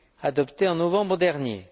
adoptées en novembre dernier.